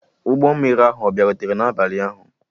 Ụgbọ mmiri ahụ ọ bịarutere n'abalị ụnyaahụ?